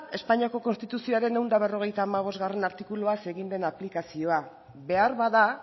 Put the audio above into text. espainiako konstituzioaren ehun eta berrogeita hamabostgarrena artikuluaz egin den aplikazioa beharbada